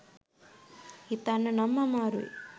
හිතන්න නම් අමාරුයි